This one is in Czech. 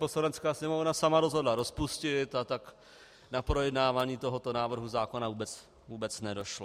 Poslanecká sněmovna sama rozhodla rozpustit, a tak na projednávání tohoto návrhu zákona vůbec nedošlo.